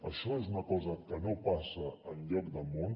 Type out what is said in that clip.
això és una cosa que no passa enlloc del món